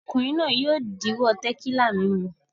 Ọkùnrin náà yóò díwọ́ tẹ̀kílà mímu.